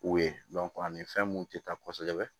U ye ani fɛn mun te ta kosɛbɛ